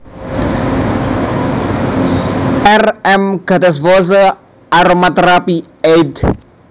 R M Gattefossé Aromatherapy éd